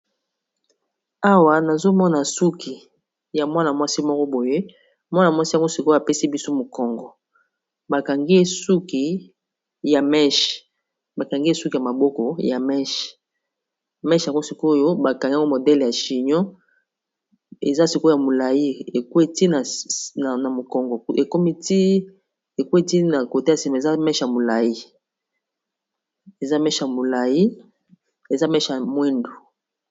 Awa nazomona suki ya mwana mwasi moko boye mwana mwasi yango sikoyo apesi biso mokongo bakangi ye suki ya maboko ya meshe mesh anko sikoyo bakangi yango modele ya chino ezaia molai na mokongowi na kote ya sima eza ma molaiya molai eza meshe ya mwindu